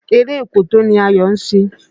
Eré òkòtó ni Ayọ̀ ń ṣe.